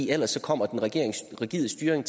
ellers kommer den rigide styring